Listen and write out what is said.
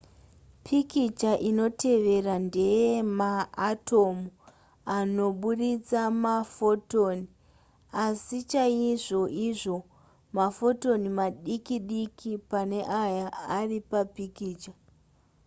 pikicha inotevera ndeyemaatomu anoburitsa mafotoni asi chaizvoizvo mafotoni madiki diki pane aya ari papikicha